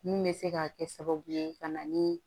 Mun bɛ se ka kɛ sababu ye ka na ni